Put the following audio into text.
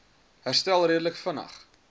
herstel redelik vinnig